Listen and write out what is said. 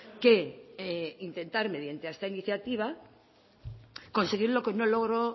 que intentar mediante esta iniciativa conseguir lo que no logró